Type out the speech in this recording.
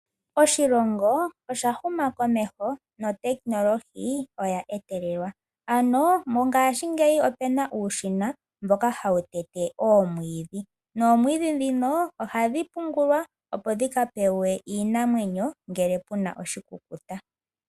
Oshilongo osha huma komeho notekinolohi oya etelelwa. Ano mongaashingeyi opu na uushina mboka hawu tete oomwiidhi noomwiidhi ndhino ohadhi pungulwa, opo dhika pewe iinamwenyo ngele pu na oshikukuta.